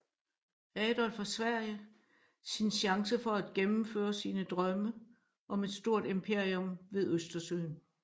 Adolf af Sverige sin chance for at gennemføre sine drømme om et stort imperium ved Østersøen